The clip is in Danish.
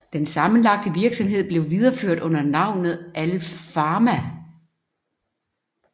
Den sammenlagte virksomhed blev videreført under navnet Alpharma